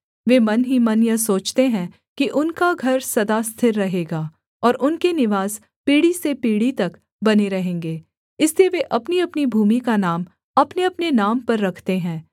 वे मन ही मन यह सोचते हैं कि उनका घर सदा स्थिर रहेगा और उनके निवास पीढ़ी से पीढ़ी तक बने रहेंगे इसलिए वे अपनीअपनी भूमि का नाम अपनेअपने नाम पर रखते हैं